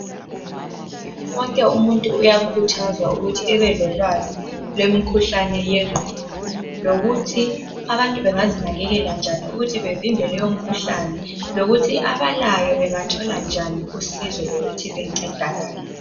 Wonke umuntu uyakhuthazwa ukuthi abalolwazi ngemikhuhlane yengqondo lokuthi abantu bengazinakekela njani ukuthi bevimbe lomkhuhlane lokuthi abalayo bengathola ngani usizo lokuthi bencedakale.